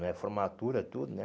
Não é formatura tudo, né?